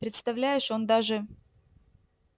представляешь он даже